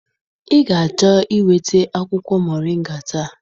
Ị ga-achọ iweta akwụkwọ mọrịnga taa.